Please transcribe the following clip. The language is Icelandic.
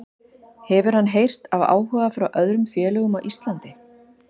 Hefur hann heyrt af áhuga frá öðrum félögum á Íslandi?